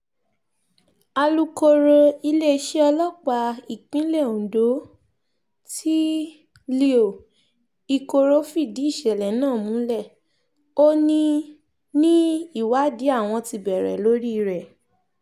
alūkkóró iléeṣẹ́ ọlọ́pàá ìpínlẹ̀ ondo tee-leo ikoro fìdí ìṣẹ̀lẹ̀ náà múlẹ̀ ò ní ní ìwádìí àwọn ti bẹ̀rẹ̀ lórí rẹ̀